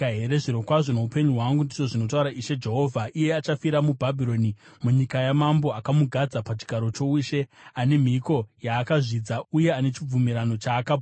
“ ‘Zvirokwazvo noupenyu hwangu, ndizvo zvinotaura Ishe Jehovha, iye achafira muBhabhironi, munyika yamambo akamugadza pachigaro choushe, ane mhiko yaakazvidza uye ane chibvumirano chaakaputsa.